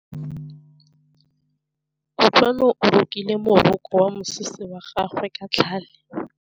Kutlwanô o rokile morokô wa mosese wa gagwe ka tlhale.